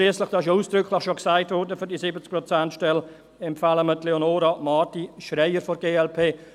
Schliesslich, und das wurde zur 70-Prozent-Stelle ja bereits ausdrücklich gesagt, empfehlen wir Frau Leonora Marti-Schreier von der glp.